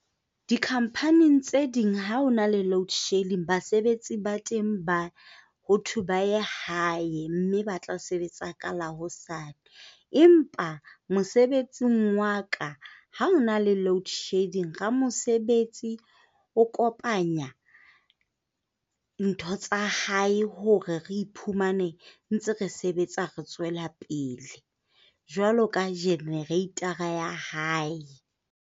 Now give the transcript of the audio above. Di-company tse ding ha ho na le load shedding, basebetsi ba teng ba ho thwe ba ya hae mme ba tla sebetsa ka la hosane. Empa mosebetsing wa ka ha ho na le load shedding, ramosebetsi o kopanya ntho tsa hae hore re iphumane re ntse re sebetsa, re tswela pele jwalo ka generator ya hae.